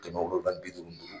Kɛmɛ wolonwula ni bi duuru ni duuru.